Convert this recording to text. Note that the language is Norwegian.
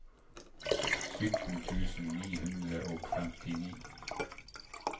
sytten tusen ni hundre og femtini